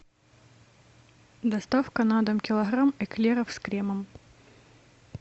доставка на дом килограмм эклеров с кремом